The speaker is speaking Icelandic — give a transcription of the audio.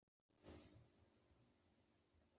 Guðný: Var hún alltaf syngjandi þegar hún var lítil?